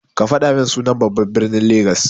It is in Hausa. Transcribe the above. Kafaɗa min sunan babban ɓirnin lagas.